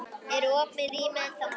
Eru opin rými ennþá málið?